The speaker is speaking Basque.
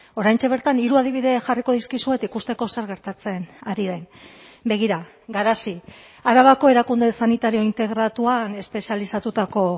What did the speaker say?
oraintxe bertan hiru adibide jarriko dizkizuet ikusteko zer gertatzen ari den begira garazi arabako erakunde sanitario integratuan espezializatutako